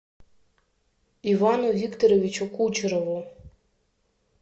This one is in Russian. ивану викторовичу кучерову